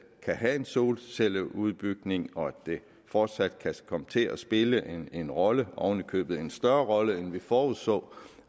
kan have en solcelleudbygning og at det fortsat kan komme til at spille en rolle oven i købet en større rolle end vi forudså